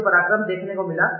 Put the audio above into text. These are without parallel